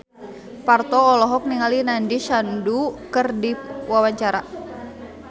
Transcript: Parto olohok ningali Nandish Sandhu keur diwawancara